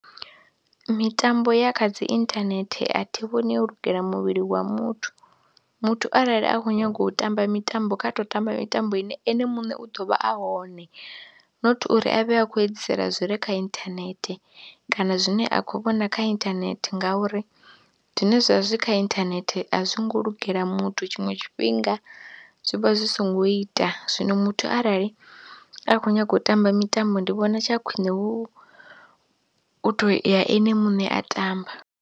Mitambo ya kha dzi inthanethe a thi vhoni yo lugela muvhili wa muthu, muthu arali a khou nyaga u tamba mitambo kha tou tamba mitambo ine ene muṋe u ḓo vha a hone not uri a vhe a khou edzisela zwi re kha inthanethe kana zwine a khou vhona kha inthanethe ngauri zwine zwa vha zwi kha inthanethe a zwi ngo lugela muthu tshiṅwe tshifhinga zwi vha zwi songo ita, zwino muthu arali a khou nyaga u tamba mitambo ndi vhona tsha khwine hu tou ya ene muṋe a tamba.